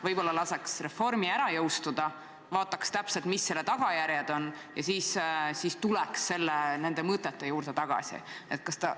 Võib-olla laseks reformi ära jõustuda, vaataks, mis selle tagajärjed täpselt on, ja siis tuleks nende mõtete juurde tagasi?